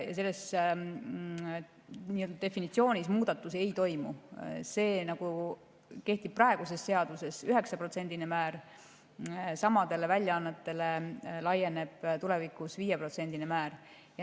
kehtib praeguses seaduses 9%-line määr, laieneb tulevikus 5%-line määr.